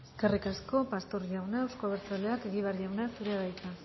eskerrik asko pastor jauna euzko abertzaleak egibar jauna zurea da hitza